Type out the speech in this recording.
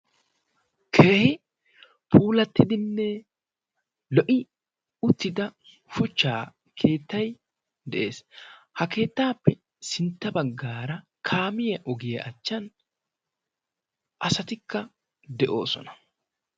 keehi puulattidinne lo''i uttida shuchchaa keettay de'ees ha keettaappe sintta baggaara kaamiya ogiyaa achchan asatikka de'oosona